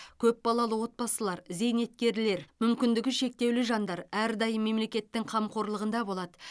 көп балалы отбасылар зейнеткерлер мүмкіндігі шектеулі жандар әрдайым мемлекеттің қамқорлығында болады